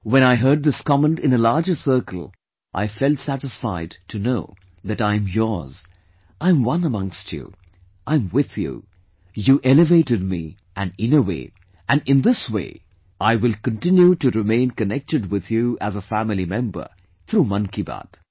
When I heard this comment in a larger circle, I felt satisfied to know that I am yours, I am one amongst you, I am with you, you elevated me and in a way, and in this way I will continue to remain connected with you as a family member through Man Ki Baat